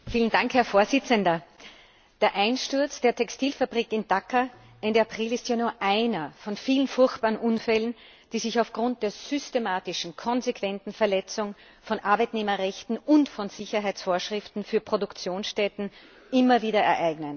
Herr Präsident! Der Einsturz der Textilfabrik in Dhaka Ende April ist ja nur einer von vielen furchtbaren Unfällen, die sich aufgrund der systematischen, konsequenten Verletzung von Arbeitnehmerrechten und von Sicherheitsvorschriften für Produktionsstätten immer wieder ereignen.